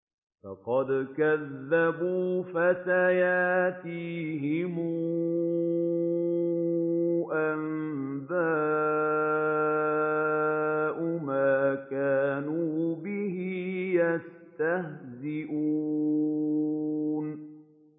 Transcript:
فَقَدْ كَذَّبُوا فَسَيَأْتِيهِمْ أَنبَاءُ مَا كَانُوا بِهِ يَسْتَهْزِئُونَ